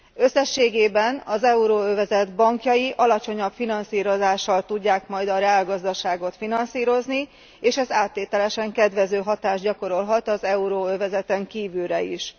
Összességében az euróövezet bankjai alacsonyabb finanszírozással tudják majd a reálgazdaságot finanszírozni, és ez áttételesen kedvező hatást gyakorolhat az euróövezeten kívülre is.